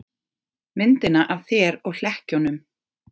Myndina af þér og hlekkjunum.